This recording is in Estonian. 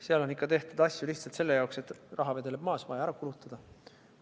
Seal on tehtud asju ka lihtsalt sellepärast, et raha vedeleb maas ja see on vaja ära kulutada.